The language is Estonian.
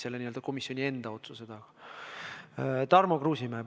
Tarmo Kruusimäe, palun!